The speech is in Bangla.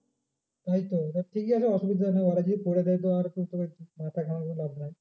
তাই তো ঠিকই আছে অসুবিধা নেই ওরা যদি করে দেয় তো আর মাথা ঘামিয়ে লাভ নাই